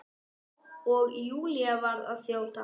Og Júlía varð að þjóta.